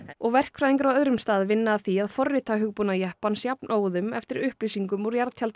og verkfræðingar á öðrum stað vinna að því að forrita hugbúnað jeppans jafnóðum eftir upplýsingum úr